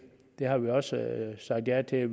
har vi også sagt ja til